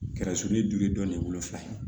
Kɛra suruni dugu ye dɔni wolo fiyewu